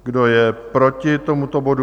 Kdo je proti tomuto bodu?